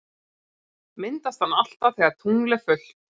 Myndast hann alltaf þegar tungl er fullt?